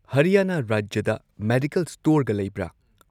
ꯍꯔꯤꯌꯥꯅꯥ ꯔꯥꯖ꯭ꯌꯗ ꯃꯦꯗꯤꯀꯜ ꯁ꯭ꯇꯣꯔꯒ ꯂꯩꯕ꯭ꯔ